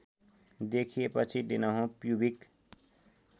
देखिएपछि दिनहुँ प्युबिक